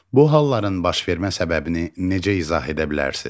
Bu halların baş vermə səbəbini necə izah edə bilərsiz?